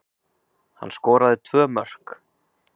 Hann skoraði tvö mörk